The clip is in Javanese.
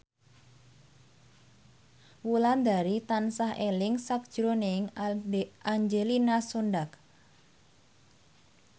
Wulandari tansah eling sakjroning Angelina Sondakh